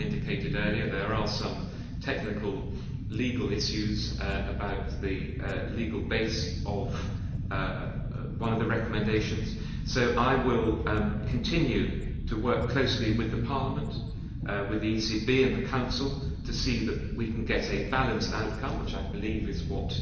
As I indicated earlier, there are some technical legal issues about the legal base of one of the recommendations, so I will continue to work closely with the Parliament, the ECB and the Council to see that we can get a balanced outcome, which I believe is what